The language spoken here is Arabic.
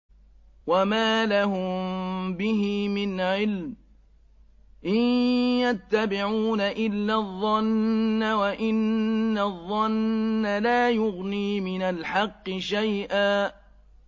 وَمَا لَهُم بِهِ مِنْ عِلْمٍ ۖ إِن يَتَّبِعُونَ إِلَّا الظَّنَّ ۖ وَإِنَّ الظَّنَّ لَا يُغْنِي مِنَ الْحَقِّ شَيْئًا